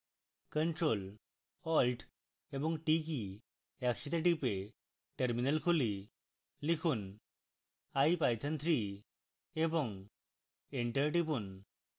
ctrl + alt + t key একসাথে type terminal খুলি লিখুন ipython3 এবং enter টিপুন